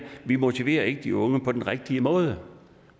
vi motiverer ikke de unge på den rigtige måde